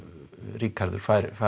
Ríkharður fái